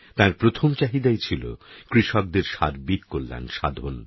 তাঁর প্রথম চাহিদাই ছিল কৃষকদের সার্বিক কল্যাণ সাধন